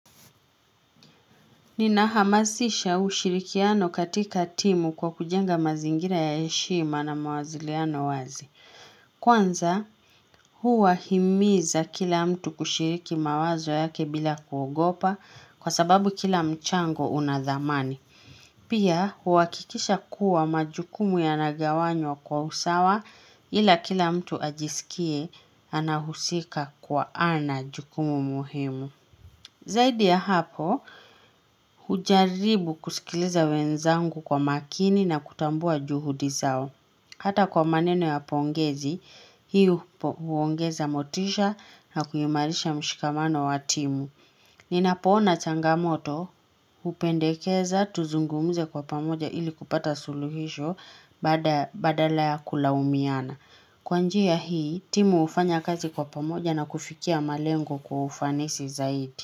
Ninahamasisha ushirikiano katika timu kwa kujenga mazingira ya heshima na mawasiliano wazi. Kwanza huwahimiza kila mtu kushiriki mawazo yake bila kuogopa kwa sababu kila mchango una dhamani. Pia huhakikisha kuwa majukumu yanagawanywa kwa usawa ila kila mtu ajisikie anahusika kuwa ana jukumu muhimu. Zaidi ya hapo, hujaribu kusikiliza wenzangu kwa makini na kutambua juhudi zao. Hata kwa maneno ya pongezi, hii huongeza motisha na kuimarisha mshikamano wa timu. Ninapoona changamoto, hupendekeza, tuzungumze kwa pamoja ili kupata suluhisho badala ya kulaumiana. Kwa njia hii, timu hufanya kazi kwa pamoja na kufikia malengo kwa ufanisi zaidi.